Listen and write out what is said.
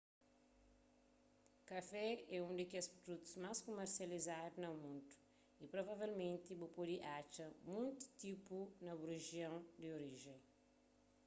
kafé é un di kes produtus más kumersializadu na mundu y provavelmenti bu pode atxa monti tipu na bu rijion di orijen